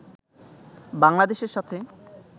বাংলাদেশের সাথে